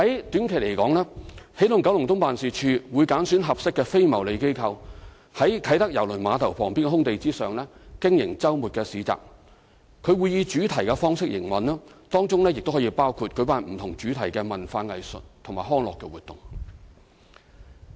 短期而言，起動九龍東辦事處會揀選合適的非牟利機構，在啟德郵輪碼頭旁邊空地上經營周末市集，會以主題方式營運，當中可包括舉辦不同主題的文化藝術及康樂活動。